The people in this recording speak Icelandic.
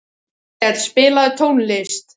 Áskell, spilaðu tónlist.